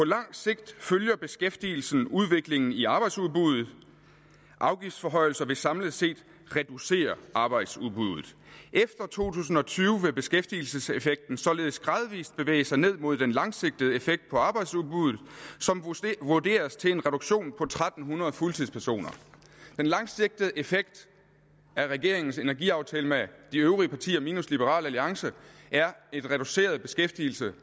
langt sigt følger beskæftigelsen udviklingen i arbejdsudbuddet afgiftsforhøjelser vil samlet set reducere arbejdsudbuddet efter to tusind og tyve vil beskæftigelseseffekten således gradvist bevæge sig ned mod den langsigtede effekt på arbejdsudbuddet som vurderes til en reduktion på tre hundrede fuldtidspersoner den langsigtede effekt af regeringens energiaftale med de øvrige partier minus liberal alliance er en reduceret beskæftigelse